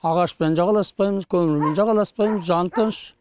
ағашпен жағаласпаймыз көмірмен жағаласпаймыз жан тыныш